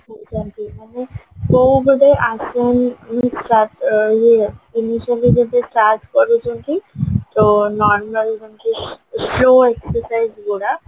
କୋଉ ଗୋଟେ ଇଏ ଜିନିଷରୁ start କରୁଚନ୍ତି ତ normal ଯେମିତି exercise ଗୁଡା